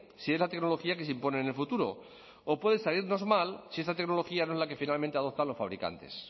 si es la tecnología que se impone en el futuro o puede salirnos mal si esa tecnología no es la que finalmente adoptan los fabricantes